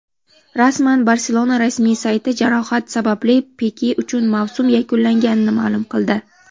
Rasman: "Barselona" rasmiy sayti jarohat sababli Pike uchun mavsum yakunlanganini ma’lum qildi;.